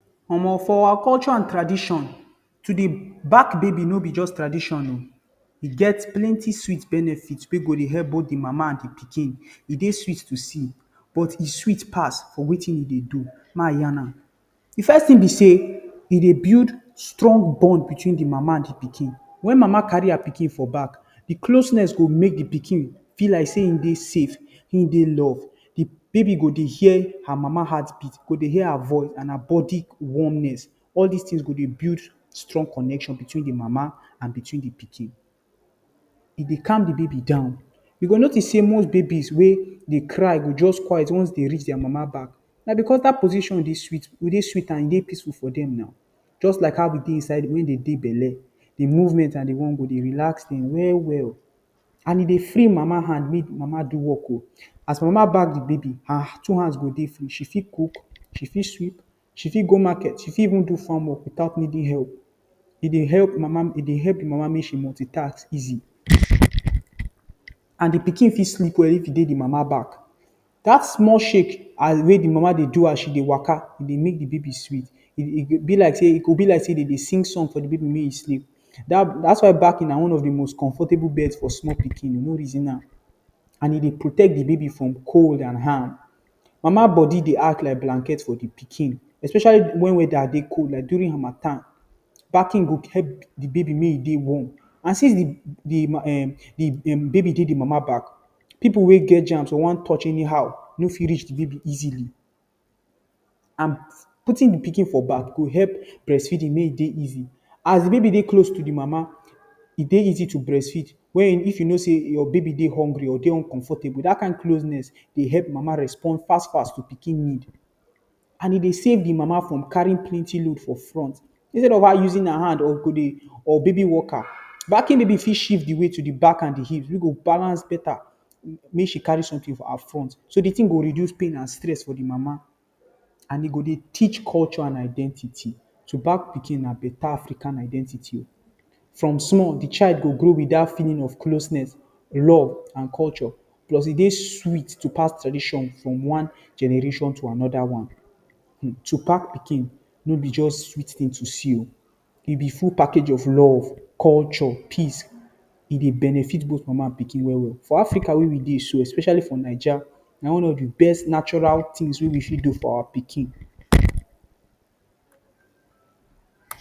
Omo! For our culture and tradition, to dey back baby no be just tradition oh! E get plenty sweet benefits wey go dey help the mama and the pikin. E dey sweet to see, but e sweet pass for wetin e dey do. May I yan am. The first thing be say, e dey build strong bond between the Mama and the pikin. When Mama carry the pikin for back, the closeness go make the pikin feel like say e dey safe, e dey loved. The baby go dey hear her Mama heartbeat. E go dey hear her voice and her body warmth. All these things go dey build strong connection between the Mama and the pikin. E dey calm the baby down. You go notice say most babies wey dey cry dey quiet once dem reach their Mama back. Na because dat position dey sweet and e dey peaceful for dem now. Just like how e be when dem dey inside belle. The movement and the warmth go dey relax dem well well. And e dey free Mama hand make Mama do work oh! As Mama back the baby, her two hands go dey free. She fit cook, she fit sweep, she fit go market, she fit even do farm work — without needing help. E dey help Mama make she multitask easily. And the pikin fit sleep well if e dey the Mama back. Dat small shake as the Mama dey waka dey make the baby sweet. E go be like say dem dey sing song for the baby make e sleep. Dat is why backing na one of the most comfortable bed for small pikin — no reason am! E dey protect the baby from cold and harm. Mama body dey act like blanket for the pikin, especially when weather dey cold — like during harmattan. Backing go help make the baby dey warm. And since the baby dey the Mama back, pipu wey get germ or wan touch anyhow no fit reach the baby easily. And putting the pikin for back go help breastfeeding make e dey easy. As the baby dey very close to the Mama, e dey easy to breastfeed. You fit know say your baby dey hungry or your baby dey uncomfortable. Dat kin closeness dey help Mama respond fast fast to pikin need. E dey save the Mama from carrying plenty load for front. Instead of her using her hand or baby walker, backing baby fit shift the weight to the back and the hips wey go balance beta. Make she carry something for her front — so the thing go reduce pain and stress for the Mama. And e go dey teach culture and identity. To back pikin na better African identity. From small, the child go grow with dat feeling of closeness, love and culture. Plus, e dey sweet to pass tradition from one generation to another. To back pikin no be just sweet thing to see — e be full package of love, culture, peace. E dey benefit both Mama and pikin well well. For Africa wey we dey so — especially for Naija — na one of the best natural things wey we fit do for our pikin.